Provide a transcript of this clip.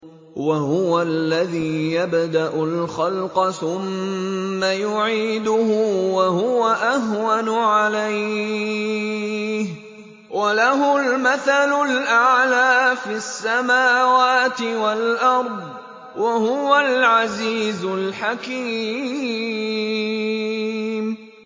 وَهُوَ الَّذِي يَبْدَأُ الْخَلْقَ ثُمَّ يُعِيدُهُ وَهُوَ أَهْوَنُ عَلَيْهِ ۚ وَلَهُ الْمَثَلُ الْأَعْلَىٰ فِي السَّمَاوَاتِ وَالْأَرْضِ ۚ وَهُوَ الْعَزِيزُ الْحَكِيمُ